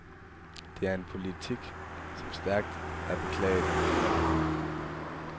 Det er en politik, som stærkt er beklaget af brugerne.